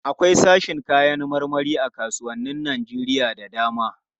Akwai sashin kayan marmari a kasuwannin Najeriya da dama.